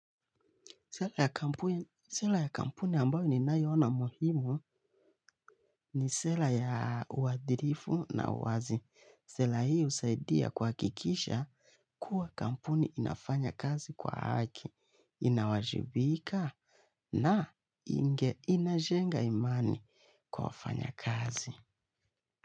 Sera ya kampuni ambayo ninayoiona muhimu ni sera ya uadilifu na uwazi. Sera hii husaidia kuhakikisha kuwa kampuni inafanya kazi kwa haki, inawajibika na inajenga imani kwa wafanya kazi.